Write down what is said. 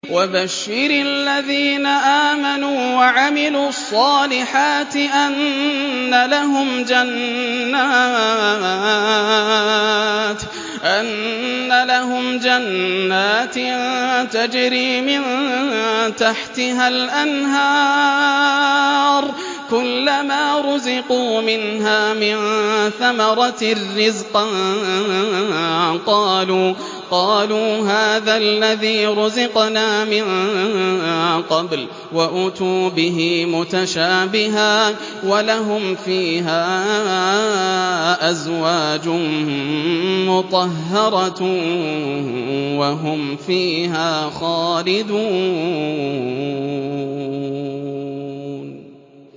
وَبَشِّرِ الَّذِينَ آمَنُوا وَعَمِلُوا الصَّالِحَاتِ أَنَّ لَهُمْ جَنَّاتٍ تَجْرِي مِن تَحْتِهَا الْأَنْهَارُ ۖ كُلَّمَا رُزِقُوا مِنْهَا مِن ثَمَرَةٍ رِّزْقًا ۙ قَالُوا هَٰذَا الَّذِي رُزِقْنَا مِن قَبْلُ ۖ وَأُتُوا بِهِ مُتَشَابِهًا ۖ وَلَهُمْ فِيهَا أَزْوَاجٌ مُّطَهَّرَةٌ ۖ وَهُمْ فِيهَا خَالِدُونَ